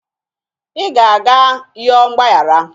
ị ga-aga yọọ mgbaghara